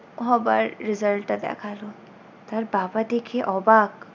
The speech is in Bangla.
হবার result টা দেখালো। তার বাবা দেখে অবাক